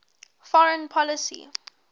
foreign policy